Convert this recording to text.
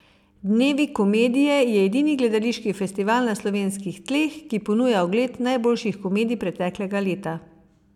Dnevi komedije je edini gledališki festival na slovenskih tleh, ki ponuja ogled najboljših komedij preteklega leta.